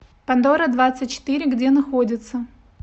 пандора двадцать четыре где находится